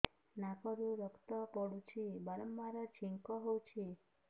ନାକରୁ ରକ୍ତ ପଡୁଛି ବାରମ୍ବାର ଛିଙ୍କ ହଉଚି